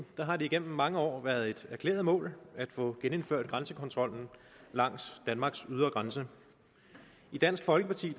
har det gennem mange år været et erklæret mål at få genindført grænsekontrollen langs danmarks ydre grænse i dansk folkeparti